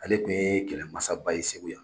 Ale kun ye kɛlɛ masaba ye segu yan.